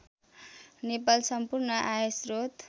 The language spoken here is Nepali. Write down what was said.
नेपाल सम्पूर्ण आयश्रोत